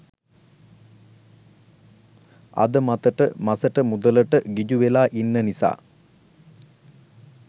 අද මතට මසට මුදලට ගිජු වෙලා ඉන්න නිසා.